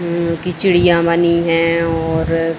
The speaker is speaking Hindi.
उम की चिड़िया बनी है और --